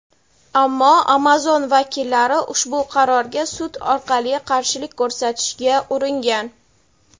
ammo "Amazon" vakillari ushbu qarorga sud orqali qarshilik ko‘rsatishga uringan.